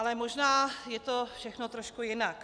Ale možná je to všechno trošku jinak.